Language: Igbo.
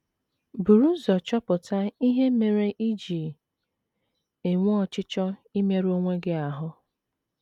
Buru ụzọ chọpụta ihe mere i ji enwe ọchịchọ imerụ onwe gị ahụ́.